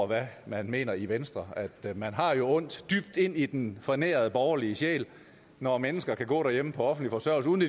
hvad man mener i venstre man har jo ondt dybt ind i den fornærede borgerlige sjæl når mennesker kan gå derhjemme på offentlig forsørgelse uden